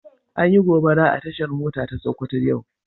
An Yi gobara a tashar mota ta sokoto yau.